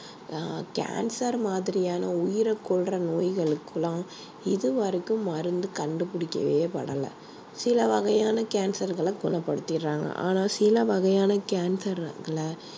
ஆஹ் cancer மாதிரியான உயிரை கொல்ற நோய்களுக்கெல்லாம் இது வரைக்கும் மருந்து கண்டுபிடிக்கவேபடலை சில வகையான cancer களை குணப்படுத்திடுறாங்க ஆனா சில வகையான cancer களை